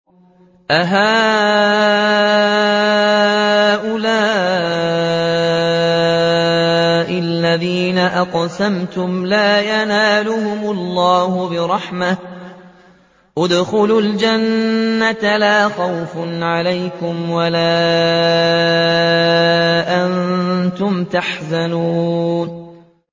أَهَٰؤُلَاءِ الَّذِينَ أَقْسَمْتُمْ لَا يَنَالُهُمُ اللَّهُ بِرَحْمَةٍ ۚ ادْخُلُوا الْجَنَّةَ لَا خَوْفٌ عَلَيْكُمْ وَلَا أَنتُمْ تَحْزَنُونَ